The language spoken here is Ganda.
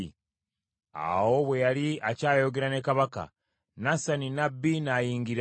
Awo bwe yali akyayogera ne kabaka, Nasani nnabbi n’ayingira.